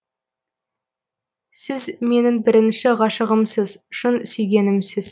сіз менің бірінші ғашығымсыз шын сүйгенімсіз